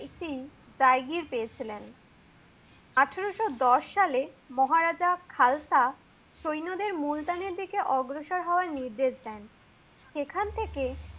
একটি ডাইগ্রির পেয়েছিলেন। আঠারোশ দশ সালে মহারাজা খালতা সৈন্যদের মুলতার দিকে অগ্রসর হওয়ার নির্দেশন দেন। সেখান থেকে